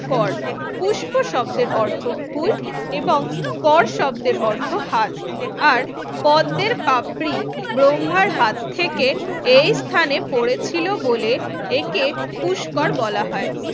কর পুষ্প শব্দের অর্থ ফুল এবং কর শব্দের অর্থ হাত আর পদ্মের পাপড়ি ব্রহ্মার হাত থেকে এই স্থানে পড়েছিল বলে একে পুষ্কর বলা হয়।